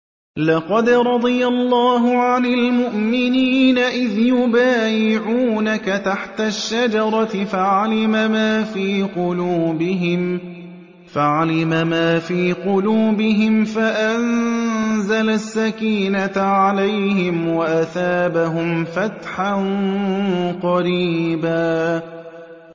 ۞ لَّقَدْ رَضِيَ اللَّهُ عَنِ الْمُؤْمِنِينَ إِذْ يُبَايِعُونَكَ تَحْتَ الشَّجَرَةِ فَعَلِمَ مَا فِي قُلُوبِهِمْ فَأَنزَلَ السَّكِينَةَ عَلَيْهِمْ وَأَثَابَهُمْ فَتْحًا قَرِيبًا